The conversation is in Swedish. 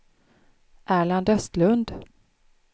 Erland Östlund